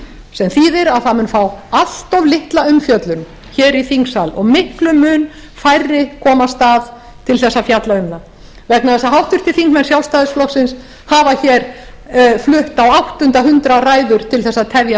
sem þýðir að það mun fá allt of litla umfjöllun hér í þingsal og miklum mun færri komast að til þess að fjalla um það vegna þess að háttvirtir þingmenn sjálfstæðisflokksins hafa hér flutt á áttunda hundrað ræður til þess að tefja